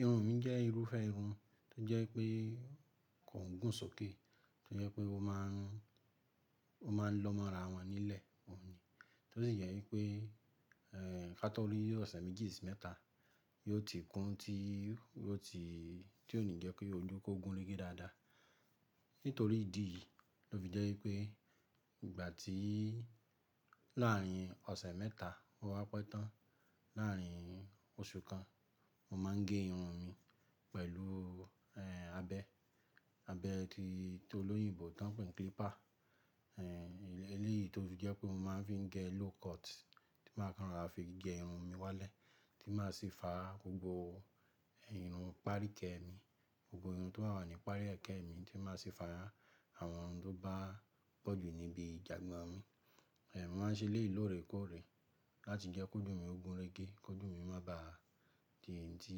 Irun mi jẹ́ irúfẹ́ irun tó jẹ́ pé kò n gùn sókè, tó jẹ́ pé ó máa ń, o maa n lọ́ mọ́ ara wọn nílẹ̀ òun ni. Tó sì jẹ́ wípé, ee ká tó ri oṣẹ méjì, si mẹ́ta yóò ti kún tí yóò ti, tí ò ní jẹ́ ki oju kòó gúnrégé dáadáa. Nítorí ìdí yìí ló fi jẹ́ wípé ìgbà tí láàárín ọ̀sẹ̀ mẹ́ta o wá pẹ́ tán, láàárín oṣù kan, mo máa ń gẹ irun mi pẹ̀lú ee abẹ́, abẹ́ tí, ti olóyìnbo tán pé clipper. Ee Eléyìí tó sì jẹ́ pé mo máa ń fi ń gẹ low cut tí máa kan rora fi gẹ irun mi wálẹ̀ tí máa sì fa gbogbo, irun irun pááriki ẹ mi, gbogbo irun tó wà ní paari ẹ̀kẹ́ mi tí máa sì fa àwọn irun tó bá pọ̀jù níbi ìjagba mi. Eh Mo máa ń ṣe ilé lóore kóòré láti jẹ́ kó oju mi gúnrégé, kó oju mi má ba tìdí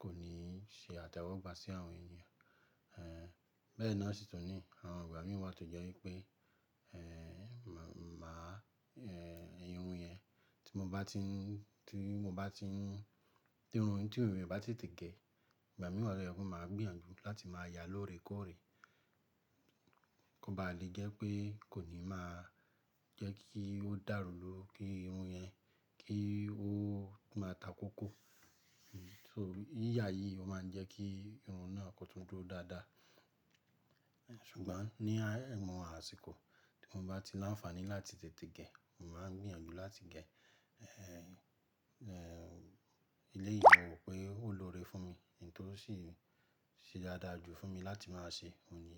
kò ní ṣe àtẹ́wọ́gbà sí àwọn ènìyàn. Ee Bẹ́ẹ̀ náà sì tunní, àwọn ìgbà mi wà tó jẹ́ wípé ee, mà, ma á ee irun yẹn tí mo bá ti ń, tí mo bá ti ń, tí irun tiyẹn o bá ti tètè gẹ, ìgbà mìíràn rẹ, ó máa gbiyànjú láti máa yá lóore kóòré. Kò bá à le jẹ́ pé kò ní máa jẹ́ kí ó dàrú ló, kí irun yẹn kí ó máa takókó. Hmm So, yíyá yìí ó máa ń jẹ́ kí irun náà kó tó dúró dáadáa. Ṣùgbọ́n ní awon àsìkò tí mo bá ti láǹfààní láti tètè gẹ, mo máa ń gbìyànjú láti gẹ eh ee eléyìí mo mọ̀ pé ó lóore fún mi n to sì ṣe dáadáa jù fún mi láti máa ṣe òun ni.